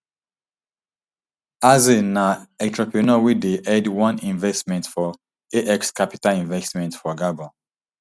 axel na entrepreneur wey dey head one investment for ax capital investment for gabon